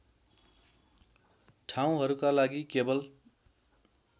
ठाउँहरूका लागि केवल